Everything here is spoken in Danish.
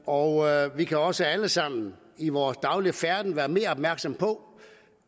og vi kan også alle sammen i vores daglige færden være mere opmærksomme på